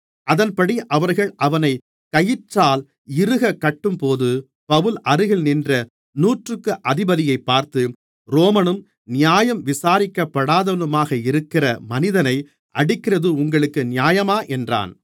அதன்படி அவர்கள் அவனைக் கயிற்றால் இருகக் கட்டும்போது பவுல் அருகில் நின்ற நூற்றுக்கு அதிபதியைப் பார்த்து ரோமனும் நியாயம் விசாரிக்கப்படாதவனுமாக இருக்கிற மனிதனை அடிக்கிறது உங்களுக்கு நியாயமா என்றான்